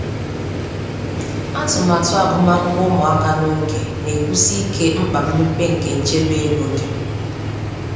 Atụmatụ agụmakwụkwọ ụmụaka n'oge na-ekwusi ike mkpa mmepe nke nchebe ego dị.